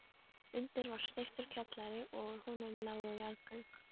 Undir var steyptur kjallari og úr honum lágu jarðgöng.